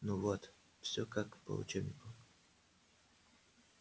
ну вот все как по учебнику